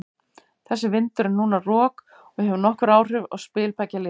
Þessi vindur er núna rok og hefur nokkur áhrif á spil beggja liða.